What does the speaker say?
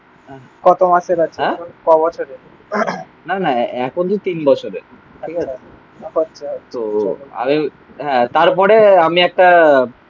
কত মাসের? ক বছরের? না না এখন তো তিন বছরে. ঠিক আছে. আচ্ছা. তো আরে হ্যাঁ তারপরে আমি একটা